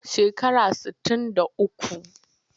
Shekara sittin da uku.